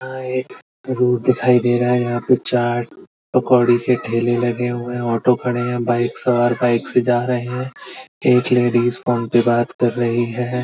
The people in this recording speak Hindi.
यह एक रोड दिखाई दे रहा है। यहां पे चाट पकोड़ी के ठेले लगे हुऐ हैं। ऑटो खड़े हैं बाइक सवार बाइक से जा रहे हैं। एक ही लेडिस फोन पे बात कर रही है।